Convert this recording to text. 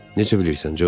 Necə bilirsən, Co?